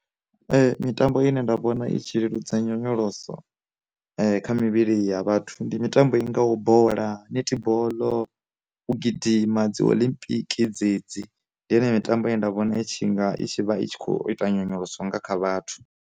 Mitambo ine nda vhona itshi leludza nyonyoloso kha mivhili ya vhathu ndi mitambo i ngaho bola, netiboḽo, u gidima, dzi olimpiki dzedzi, ndi yone mitambo ye nda vhona itshi nga i vha i tshi kho ita nyonyoloso nga kha vhathu.